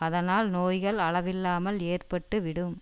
அதனால் நோய்கள் அளவில்லாமல் ஏற்ப்பட்டு விடும்